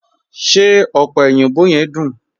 Ṣé ọ̀pẹ̀ oyinbò yẹ̀m duń?